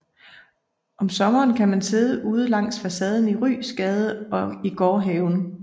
Om sommeren kan man sidde udenfor langs facaden i Ryesgade og i gårdhaven